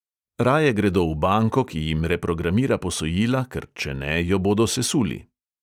Raje gredo v banko, ki jim reprogramira posojila, ker če ne, jo bodo sesuli.